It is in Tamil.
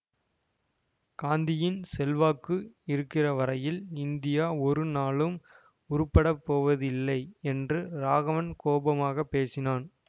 காந்தியின் செல்வாக்கு இருக்கிற வரையில் இந்தியா ஒரு நாளும் உருப்பட போவதில்லை என்று ராகவன் கோபமாக பேசினான்